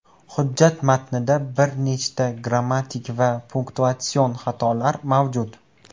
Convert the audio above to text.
Hujjat matnida bir nechta grammatik va punktuatsion xatolari mavjud.